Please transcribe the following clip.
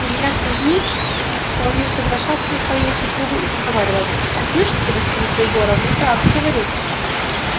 илья кузмич вполне соглашался со своей супругой и приговаривал а слышь ты василиса егоровна правду говорит